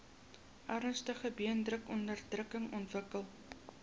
ernstige beenmurgonderdrukking ontwikkel